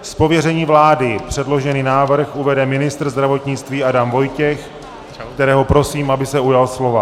Z pověření vlády předložený návrh uvede ministr zdravotnictví Adam Vojtěch, kterého prosím, aby se ujal slova.